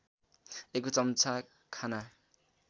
एक चम्चा खाना